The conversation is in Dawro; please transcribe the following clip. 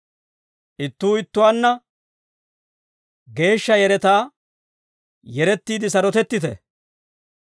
Ittuu ittuwaanna geeshsha yeretaa yerettiidde sarotettite.